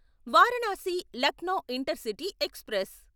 Varanasi Lucknow intercity express